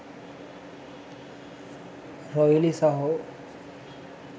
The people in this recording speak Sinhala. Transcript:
රොයිලි සහෝ.